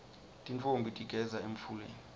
tintfombi tigeza emfuleni